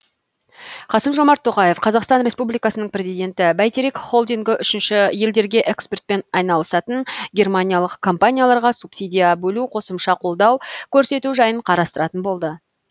қасым жомарт тоқаев қазақстан республикасының президенті бәйтерек холдингі үшінші елдерге экспортпен айналысатын германиялық компанияларға субсидия бөлу қосымша қолдау көрсету жайын қарастыратын болады